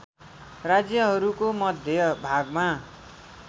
राज्यहरूको मध्य भागमा